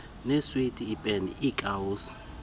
neeswiti iipeni iikawusi